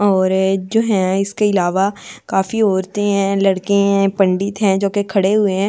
और जो है इसके अलावा काफी औरतें हैं लड़के हैं पंडित हैं जो कि खड़े हुए हैं--